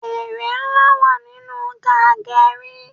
Ère ńlá wà nínú ká geri